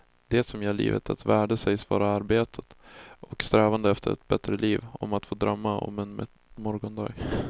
Det som ger livet ett värde sägs ju vara arbetet och strävandet efter ett bättre liv, om att få drömma om en morgondag.